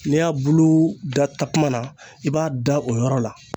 N'i y'a bulu da takuma na i b'a da o yɔrɔ la